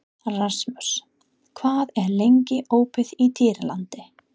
Rasmus, hvað er lengi opið í Dýralandi?